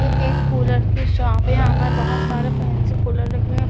ये एक कूलर की सापे यहा पर बहुत सारे फैंसी कूलर दिख रहे है।